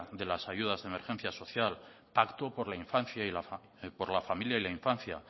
de las ayudas de emergencia social pacto por la familia y la infancia